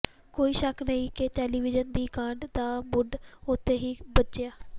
ਕੋਈ ਸ਼ੱਕ ਨਹੀਂ ਕਿ ਟੈਲੀਵਿਯਨ ਦੀ ਕਾਢ ਦਾ ਮੁੱਢ ਉੱਥੋਂ ਹੀ ਬੱਝਿਆ